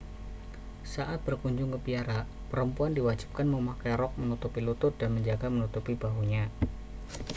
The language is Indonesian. saat berkunjung ke biara perempuan diwajibkan memakai rok menutupi lutut dan juga menutupi bahunya